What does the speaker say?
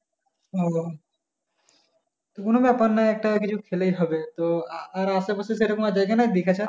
বাবা তো কোনো ব্যাপার নয় একটা কিছু খেলেই হবে তো আর আশেপাশে সেরকম জায়গা নেই দিঘা ছাড়া?